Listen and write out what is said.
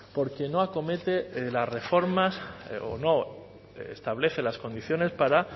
porque no acomete las reformas o no establece las condiciones para